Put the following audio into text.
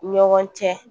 Ɲɔgɔn cɛ